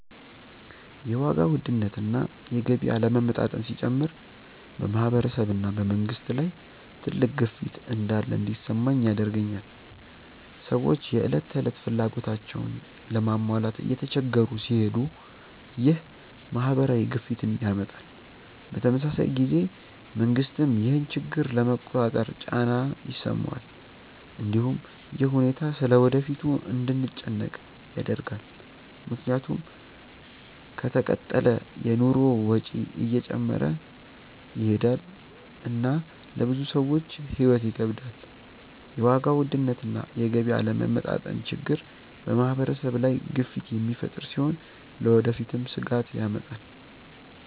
የዋጋ ውድነት እና የገቢ አለመመጣጠን ሲጨምር በማህበረሰብ እና በመንግስት ላይ ትልቅ ግፊት እንዳለ እንዲሰማኝ ያደርገኛል። ሰዎች የዕለት ተዕለት ፍላጎታቸውን ለመሟላት እየተቸገሩ ሲሄዱ ይህ ማህበራዊ ግፊትን ያመጣል። በተመሳሳይ ጊዜ መንግስትም ይህን ችግር ለመቆጣጠር ጫና ይሰማዋል። እንዲሁም ይህ ሁኔታ ስለ ወደፊቱ እንድንጨነቅ ያደርጋል፣ ምክንያቱም ከተቀጠለ የኑሮ ወጪ እየጨመረ ይሄዳል እና ለብዙ ሰዎች ሕይወት ይከብዳል። የዋጋ ውድነት እና የገቢ አለመመጣጠን ችግር በማህበረሰብ ላይ ግፊት የሚፈጥር ሲሆን ለወደፊትም ስጋት ያመጣል።